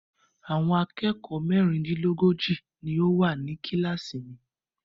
Àwọn akẹ́kọ̀ọ́ mẹ́rindínlógójì ni ó wà ní kíláàsì mi.